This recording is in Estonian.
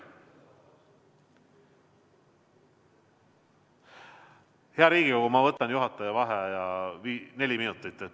Hea Riigikogu, ma võtan juhataja vaheaja neli minutit.